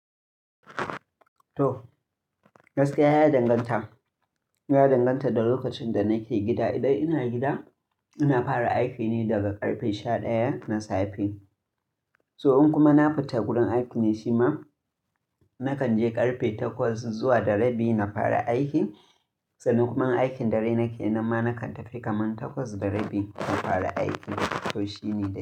To, gaskiya ya danganta. Ya danganta da lokacin da nake gida. Idan ina gida, ina fara aiki ne daga ƙarfe sha ɗaya na safe. To in kuma na fita gurin aiki ne shi ma, nakan je ƙarfe takwas zuwa da rabi na fara aiki. Sannan kuma in aikin dare nakeyi, nan ma nakan tafi kaman takwas da rabi na fara aiki. To shi ne.